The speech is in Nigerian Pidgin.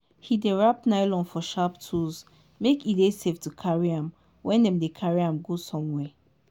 he dey wrap nylon for sharp tools make e dey safe to carry when dem dey carry am go somewhere.